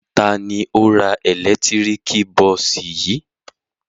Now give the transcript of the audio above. Ta ni ó ra ẹ̀lẹ́tíríkì bọ́ọ́sì yìí?